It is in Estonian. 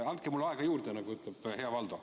Andke mulle aega juurde, nagu ütleb hea Valdo.